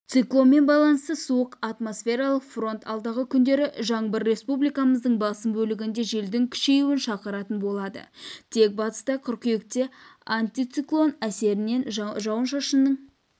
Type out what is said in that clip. циклонмен байланысты суық атмосфералық фронт алдағы күндері жаңбыр республикамыздың басым бөлігінде желдің күшеюін шақыратын болады тек батыста қыркүйекте антициклон әсерінен жауын-шашынның